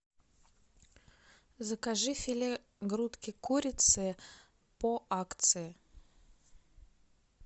закажи филе грудки курицы по акции